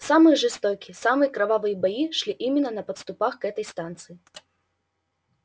самые жестокие самые кровавые бои шли именно на подступах к этой станции